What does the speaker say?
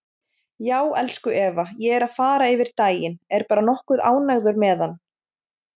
Já, elsku Eva, ég er að fara yfir daginn, er bara nokkuð ánægður með hann.